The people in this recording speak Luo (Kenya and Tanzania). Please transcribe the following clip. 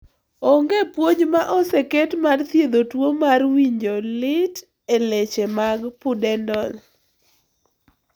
Onge puonj ma oseket mar thiedho tuo mar winjo lit e leche mag pudendal